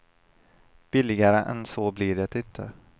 Billigare än så blir det inte.